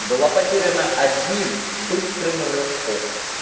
была потеряна одним быстрым рывком